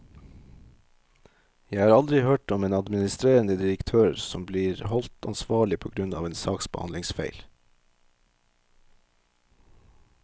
Jeg har aldri hørt om en administrerende direktør som blir holdt ansvarlig på grunn av en saksbehandlingsfeil.